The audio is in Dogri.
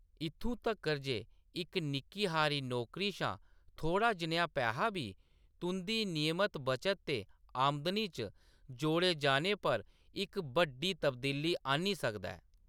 इत्थूं तक्कर ​​जे इक निक्की हारी नौकरी शा थोह्‌ड़ा जनेहा पैहा बी तुंʼदी नियमत बचत ते आमदनी च जोड़े जाने पर इक बड्डी तब्दीली आह्‌न्नी सकदा ऐ।